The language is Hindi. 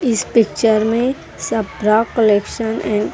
इस पिक्चर में सप्रा कलेक्शन एंड --